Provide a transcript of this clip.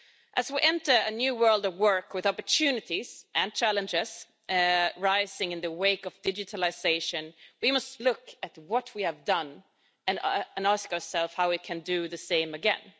As we enter a new world of work with opportunities and challenges rising in the wake of digitalisation, we must look at what we have done and ask ourselves how we can do the same again.